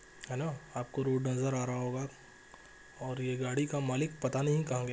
Hello आप को road नज़र आ रहा होगा और ये गाड़ी का मालिक पता नहीं कहां गया।